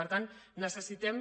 per tant necessitem